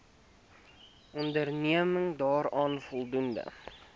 onderneming daaraan voldoen